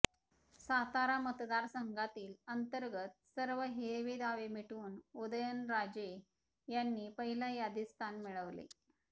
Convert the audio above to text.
सातारा मतदारसंघातील अंतर्गत सर्व हेवेदावे मिटवून उदयनराजे यांनी पहिल्या यादीत स्थान मिळवले